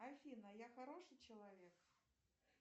афина я хороший человек